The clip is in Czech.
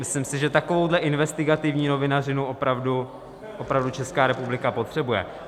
Myslím si, že takovouhle investigativní novinařinu opravdu Česká republika potřebuje.